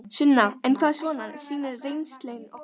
Sunna: En hvað svona sýnir reynslan ykkur?